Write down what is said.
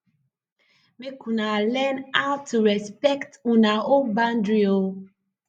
mek una two learn aw to respekt una own bandry o